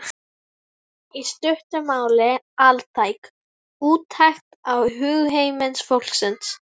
í stuttu máli altæk úttekt á hugarheimi fólksins.